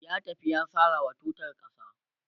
ya tafi ya sarawa tutar ƙasa